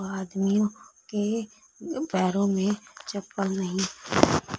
आदमी के पैरों में चप्पल नहीं--